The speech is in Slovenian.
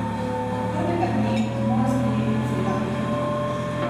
Od prvega dne jih mora sprejeti cela ekipa.